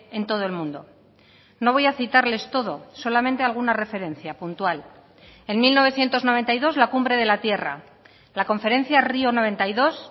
en todo el mundo no voy a citarles todo solamente alguna referencia puntual en mil novecientos noventa y dos la cumbre de la tierra la conferencia río noventa y dos